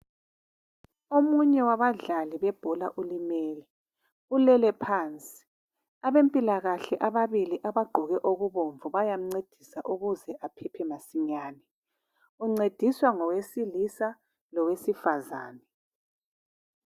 Omunye wabadlali bebhola ulimele . Ulele phansi. Abempilakahle ababili bagqoke okubomvu bayamncedisa ukuze aphephe masinye. Uncediswa ngowesilisa lowesifazana.